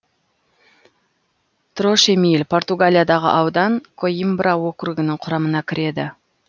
трошемил португалиядағы аудан коимбра округінің құрамына кіреді